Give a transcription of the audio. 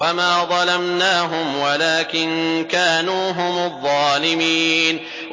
وَمَا ظَلَمْنَاهُمْ وَلَٰكِن كَانُوا هُمُ الظَّالِمِينَ